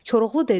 Koroğlu dedi.